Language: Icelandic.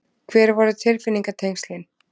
Hver voru tilfinningatengslin?